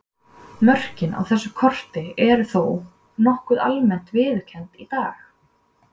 Mörkin á þessu korti eru þó nokkuð almennt viðurkennd í dag.